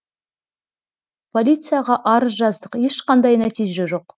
полицияға арыз жаздық ешқандай нәтиже жоқ